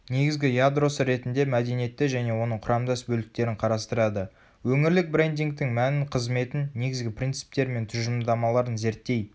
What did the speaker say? негізгі ядросы ретінде мәдениетті және оның құрамдас бөліктерін қарастырады.өңірлік брендингтің мәнін қызметін негізгі принциптері мен тұжырымдамаларын зерттей